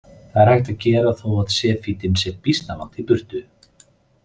Þetta er hægt að gera þó að sefítinn sé býsna langt í burtu.